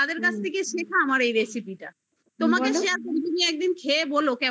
তাদের কাছ থেকে শেখ আমার এই recipe টা তোমাকে share করবো তুমি একদিন খেয়ে বলো